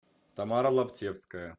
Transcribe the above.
тамара лаптевская